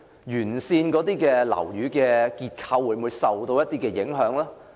沿線樓宇的結構會否受影響？